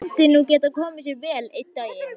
Það myndi nú geta komið sér vel einn daginn.